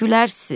gülərsiz.